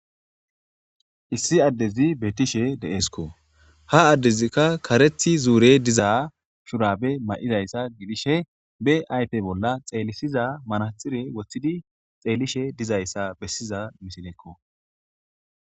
issi addezi betishe deeeskko ha addezikka karethi zuure diza shurabe ma'izayssa gidishe be aype bolla xeelisiza manaxire woththidi xeellishe dizayssa bessiza misilekko